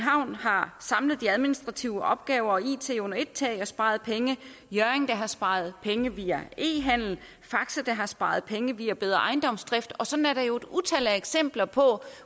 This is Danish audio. har samlet de administrative opgaver og it under ét tag og sparet penge hjørring der har sparet penge via e handel og faxe der har sparet penge via bedre ejendomsdrift og sådan er der jo et utal af eksempler på